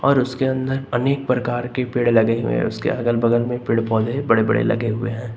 और उसके अंदर अनेक प्रकार के पेड़ लगे हुए हैं उसके अगल बगल में पेड़ पौधे बड़े बड़े लगे हुए हैं।